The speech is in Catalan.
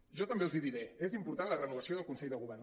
jo també els hi diré és important la renovació del consell de govern